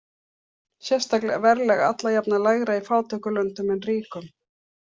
Sérstaklega er verðlag alla jafna lægra í fátækum löndum en ríkum.